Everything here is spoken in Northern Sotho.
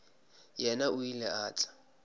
yena o ile a tla